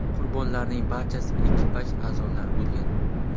Qurbonlarning barchasi ekipaj a’zolari bo‘lgan.